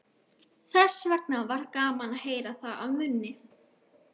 Þessvegna var gaman að heyra það af munni